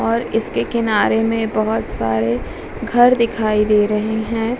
और इसके किनारे में बहोत सारे घर दिखाई दे रहे हैं।